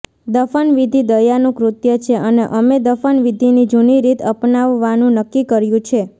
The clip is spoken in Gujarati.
દફનવિધિ દયાનું કૃત્ય છે અને અમે દફનવિધિની જૂની રીત અપનાવવાનું નક્કી કર્યું છે